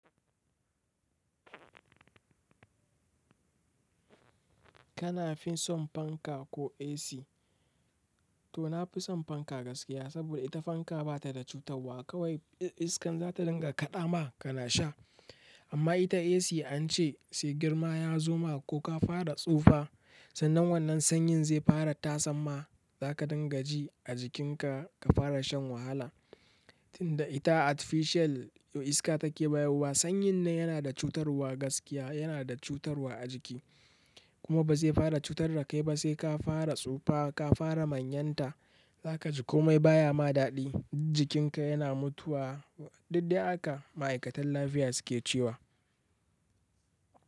Kana fin son fanka ko AC? To na fi son fanka gaskiya saboda ita fanka ba ta da cutarwa kawai iskan za ta dinga kaɗa ma kana sha. Amma ita AC an ce sai girma ya zo ma ko ka fara tsufa sannan wannan sanyin zai fara tasamma za ka dinga ji a jikinka ka fara shan wahala. Tinda ita artificial iska take bayarwa sanyin nan yana da cutarwa gaskiya yana da cutarwa a jiki kuma ba zai fara cutar da kai ba sai ka fara tsufa ka fara manyanta za ka ji komai baya ma daɗi jikinka yana mutuwa. Duk dai haka ma'aikatan lafiya suke cewa.